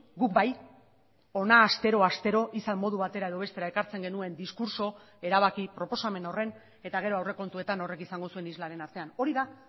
guk bai hona astero astero izan modu batera edo bestera ekartzen genuen diskurtso erabaki proposamen horren eta gero aurrekontuetan horrek izango zuen islaren artean hori da